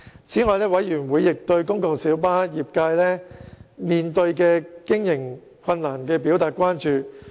此外，委員亦對公共小巴業界面對的經營困難表達關注。